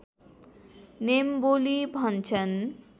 निम्बोली भन्छन्